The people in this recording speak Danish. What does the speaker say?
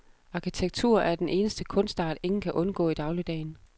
Arkitektur er den eneste kunstart, ingen kan undgå i dagligdagen.